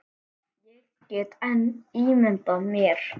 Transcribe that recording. Ég get enn ímyndað mér!